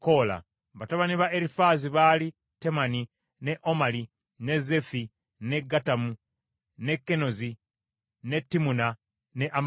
Batabani ba Erifaazi baali Temani, ne Omali, ne Zeefi, ne Gatamu, ne Kenozi, ne Timuna ne Amaleki.